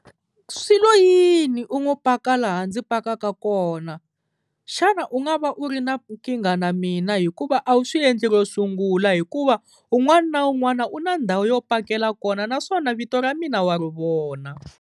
Swilo yini u ngo paka laha ndzi pakaka kona? Xana u nga va u ri na nkingha na mina hikuva a wu swi endli ro sungula hikuva un'wana na un'wana u na ndhawu yo pakela kona naswona vito ra mina wa ri vona.